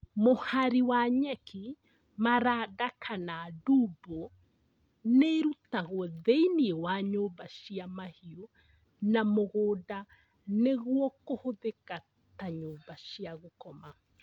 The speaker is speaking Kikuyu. Mũhari wa nyeki, maranda kana ndumbũ nĩrutagwo thĩinĩ wa nyũmba cia mahiũ na mũgũnda nĩguo kũhũthĩka ta nyũmba cia gũkoma